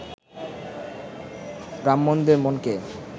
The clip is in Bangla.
ব্রাহ্মণদের মনকে